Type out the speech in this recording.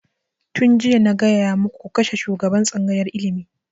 Tun jiya na gaya muku ku kashe shugaban tsangayar ilimi!